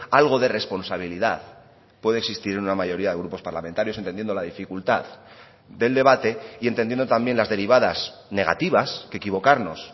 algo de responsabilidad puede existir en una mayoría de grupos parlamentarios entendiendo la dificultad del debate y entendiendo también las derivadas negativas que equivocarnos